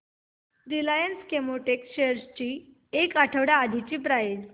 Reliance Chemotex shares ची एक आठवड्या आधीची प्राइस